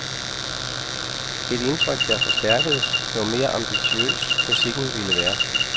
Et indtryk, der forstærkedes, jo mere ambitiøs musikken ville være.